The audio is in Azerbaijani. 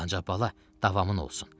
Ancaq bala, davamın olsun.